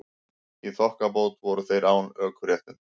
Í þokkabót voru þeir án ökuréttinda